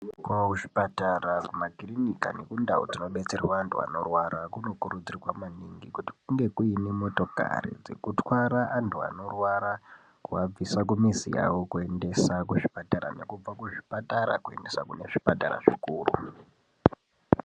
Kuzvipatara, kumakirinika nekundau dzinobetserwa antu vanorwara kunokurudzirwa maningi kuti kunge kuine motokari dzekutwara antu anorwara kuabvisa mumizi yavo kuzvipatara nekubva kuzvipatara kuendesa kune zvipatara zvikuru.